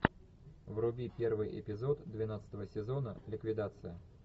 вруби первый эпизод двенадцатого сезона ликвидация